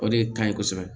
O de ka ɲi kosɛbɛ